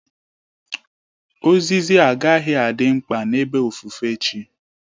Ozizi agaghị adị mkpa n'ebe ofufe chi